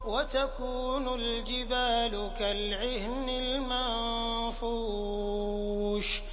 وَتَكُونُ الْجِبَالُ كَالْعِهْنِ الْمَنفُوشِ